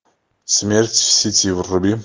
смерть в сети вруби